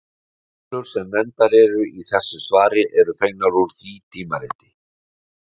Tölur sem nefndar eru í þessu svari eru fengnar úr því tímariti.